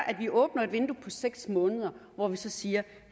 at vi åbner et vindue på seks måneder hvor vi så siger